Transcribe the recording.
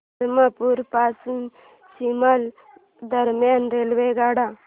धरमपुर पासून शिमला दरम्यान रेल्वेगाड्या